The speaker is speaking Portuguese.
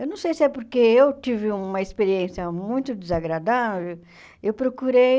Eu não sei se é porque eu tive uma experiência muito desagradável, eu procurei...